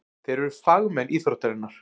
Þeir eru fagmenn íþróttarinnar.